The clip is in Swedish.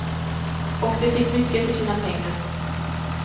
Och de fick mycket för sina pengar.